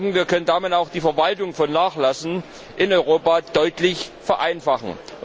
Wir denken, wir können damit auch die Verwaltung von Nachlassen in Europa deutlich vereinfachen.